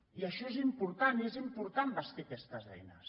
i això és important i és important bastir aquestes eines